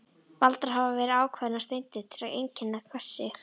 Valdar hafa verið ákveðnar steindir til að einkenna hvert stig.